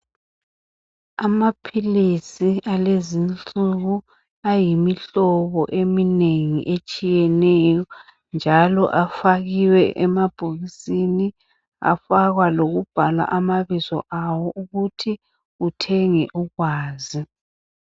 Amaphilisi alezinsuku ayimihlobo eminengi etshiyeneyo njalo afakiwe emabhokisini afakwa lokubhala amabizo awo ukuthi uthenge usazi.